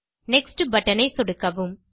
next button ஐ சொடுக்கவும்